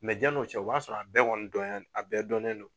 diani o cɛ o b'a sɔrɔ a bɛɛ dɔnɲa a bɛɛ dɔnnen don.